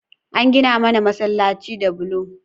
An gina mana masalaci da bulo